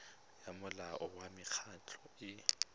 ya molao wa mekgatlho e